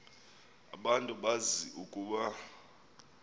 abantu bazi ukuba